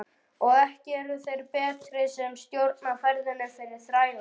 Og ekki eru þeir betri sem stjórna ferðinni fyrir þrælana.